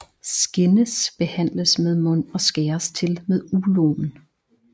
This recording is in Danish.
Skindes behandles med mund og skæres til med uloen